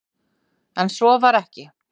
En svo var ekki